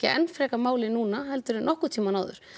enn frekar máli núna heldur en nokkurn tímann áður